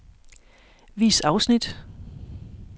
Vis afsnit.